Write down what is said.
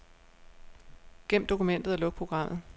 Gem dokumentet og luk programmet.